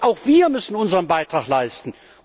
Und auch wir müssen unseren Beitrag leisten.